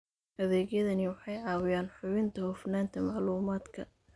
Adeegyadani waxay caawiyaan hubinta hufnaanta macluumaadka.